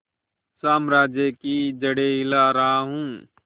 साम्राज्य की जड़ें हिला रहा हूं